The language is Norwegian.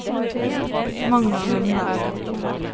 Magnar Lundberg